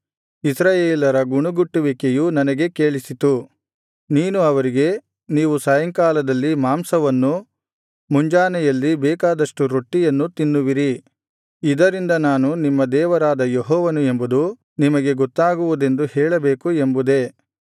ಇಸ್ರಾಯೇಲರ ಗುಣುಗುಟ್ಟುವಿಕೆಯು ನನಗೆ ಕೇಳಿಸಿತು ನೀನು ಅವರಿಗೆ ನೀವು ಸಾಯಂಕಾಲದಲ್ಲಿ ಮಾಂಸವನ್ನೂ ಮುಂಜಾನೆಯಲ್ಲಿ ಬೇಕಾದಷ್ಟು ರೊಟ್ಟಿಯನ್ನೂ ತಿನ್ನುವಿರಿ ಇದರಿಂದ ನಾನು ನಿಮ್ಮ ದೇವರಾದ ಯೆಹೋವನು ಎಂಬುದು ನಿಮಗೆ ಗೊತ್ತಾಗುವುದೆಂದು ಹೇಳಬೇಕು ಎಂಬುದೇ